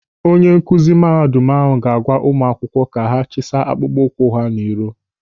Onye nkụzi mahadum ahụ ga-agwa ụmụ akwụkwọ ka ha chisa akpụkpọ ụkwụ n'iro.